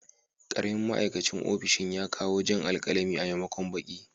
Karamin ma'aikacin ofishin ya kawo jan alkalami a maimakon baƙi.